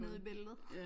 Nede i bæltet